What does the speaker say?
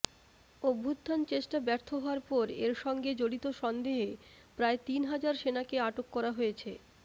অভ্যুত্থানচেষ্টা ব্যর্থ হওয়ার পর এর সঙ্গে জড়িত সন্দেহে প্রায় তিন হাজার সেনাকে আটক করা হয়েছে